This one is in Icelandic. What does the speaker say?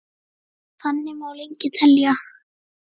Þannig má lengi telja.